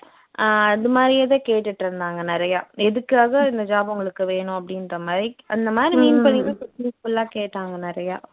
அஹ் அது மாதிரியே தான் கேட்டுட்டு இருந்தாங்க நிறையா எதுக்காக இந்த job உங்களுக்கு வேணும் அப்படின்ற மாதிரி அந்த மாதிரி mean பண்ணிதான் full ஆ கேட்டாங்க நிறையா